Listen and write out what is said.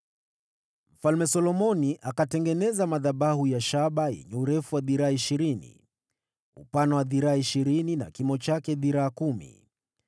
Mfalme Solomoni akatengeneza madhabahu ya shaba yenye urefu wa dhiraa ishirini, upana wa dhiraa ishirini na kimo chake dhiraa kumi.